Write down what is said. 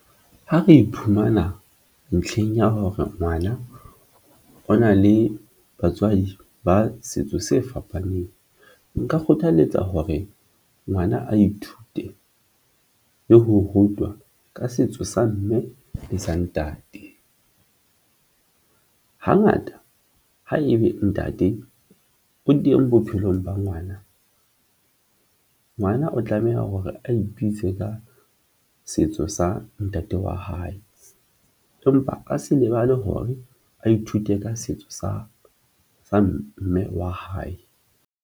Ha re iphumana ntlheng ya hore ngwana o na le batswadi ba setso se fapaneng, nka kgothaletsa hore ngwana a ithute le ho rutwa ka setso sa mme le sa ntate. Hangata haebe ntate o teng bophelong ba ngwana, ngwana o tlameha hore a ipitse ka setso sa ntate wa hae, empa a se lebale hore a ithute ka setso sa mme wa hae.